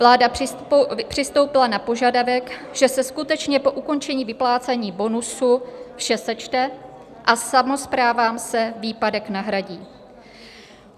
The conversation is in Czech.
Vláda přistoupila na požadavek, že se skutečně po ukončení vyplácení bonusu vše sečte a samosprávám se výpadek nahradí.